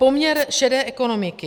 Poměr šedé ekonomiky.